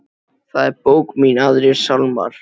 Það er bók mín Aðrir sálmar.